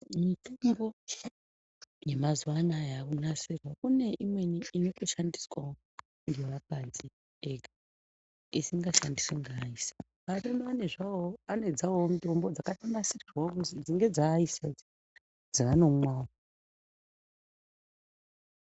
Mitombo yemazuwa anaya yakunasirwa kune imweni inotoshandiswawo ngevakadzi ega isingashandiswi ngeaisa arume anezvawowo anedzawowo dzakatonasirwawo kuti idzi ngedzeaisa idzi dzaanomwawo.